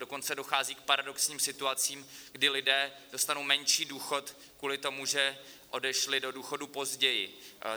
Dokonce dochází k paradoxním situacím, kdy lidé dostanou menší důchod kvůli tomu, že odešli do důchodu později.